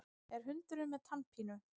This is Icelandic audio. Er hundurinn með tannpínu?